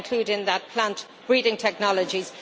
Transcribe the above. I include in that plant breeding technologies.